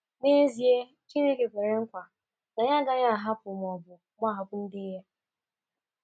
N’ezie, Chineke kwere nkwa na ya agaghị ahapụ, ma ọ bụ gbahapụ ndị ya.